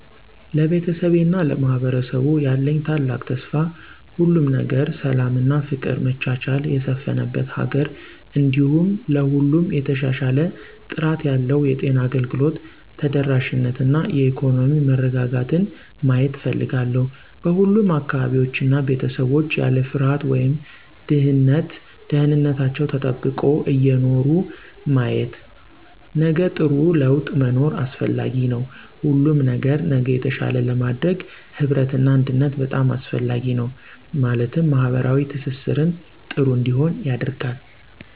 ለቤተሰቤ እና ለማህበረሰቡ ያለኝ ታላቅ ተስፋ ሁሉም ነገር ሰላም እና ፍቅር መቻቻል የሰፍነበት ሀገር እንዲሁም ለሁሉም የተሻሻለ ጥራት ያለው የጤና አገልግሎት ተደራሽነት እና የኢኮኖሚ መረጋጋትን ማየት እፍልጋለሁ። በሁሉም አካባቢዎች እና ቤተሰቦች ያለ ፍርሃት ወይም ድህነት ደህንንታችው ተጠብቆ እየኖሩ ማየት። ነገጥሩ ላወጥ መኖር አሰፍላጊ ነዉ ሁሉም ነገር ነገ የተሻለ ለማድረግ ህብረት እና አንድነት በጣም አሰፍላጊ ነው ማለትም ማህበራዊ ትሰሰርን ጥሩ እንዲሆን ያደርጋል።